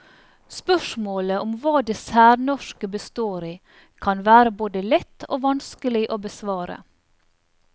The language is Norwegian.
Spørsmålet om hva det særnorske består i, kan være både lett og vanskelig å besvare.